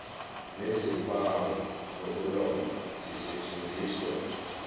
nezimpawu zokuloba zisetshenziswe